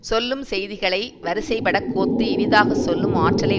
சொல்லும் செய்திகளை வரிசைபடக் கோத்து இனிதாக சொல்லும் ஆற்றலை